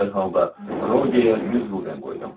Dərhal da Rogerə 100 qulden qoydum.